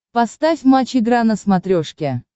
поставь матч игра на смотрешке